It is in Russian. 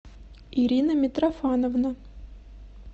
ирина митрофановна